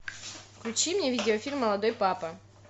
включи мне видеофильм молодой папа